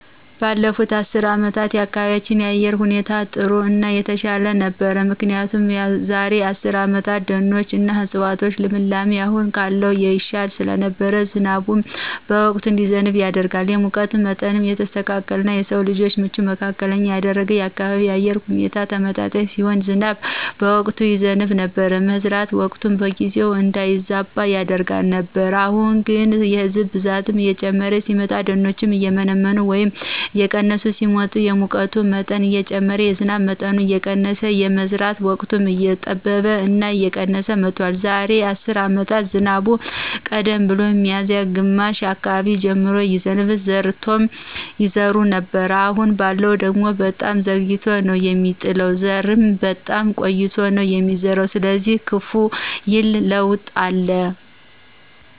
ባለፉት አስርት አመታት የአካባቢያችን የአየር ሁኔታ ጥሩ እና የተሻለ ነበር ምክንያቱ የዛራ አስርት አመታት የደኖች እና የዕፅዋቶች ልምላሜ አሁን ካለው ይሻል ስለነበር ዝናብን በወቅቱ እንዲዘንብ ያደርጋል፣ የሙቀት ምጠኑም የተስተካከለ እና ለስው ልጅ ምቹ መካከለኛ ያደርገዋል፣ የአካባቢው የአየር ሁኔታ ተመጣጣኝ ሲሆን ዝናብም በወቅቱ ይዘብ ነበር፣ የመዝራት ወቅትም በጊዜው እንዳይዛባ ያደርግ ነበር። አሁን ላይ ግን የህዝብ ብዛት እየጨመረ ሲመጣ፣ ደኖችም እየመነመኑ ወይም እየቀነሱ ሲመጡ የሙቀት መጠኑ እየጨመረ የዝናብ መጠኑ እየቀነስ የመዝራት ወቅትም እየጠበበ እና የቀነስ መጥቷል። የዛሬ አስር አመት ዝናቡም ቀደም ብሎ ሚዚያ ግማሽ አካባቢ ጀምሮ ይዘንባል ዘርምቶሎ ይዘራ ነበር አሁን ባለው ደግሞ በጣም ዘግይቶ ነው ሚጥል ዘርም በጣም ቆይቶ ነው ሚዘራ ስለዚህ ከፍ ይል ለውጥ አለ።